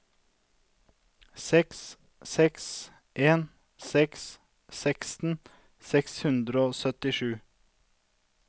seks seks en seks seksten seks hundre og syttisju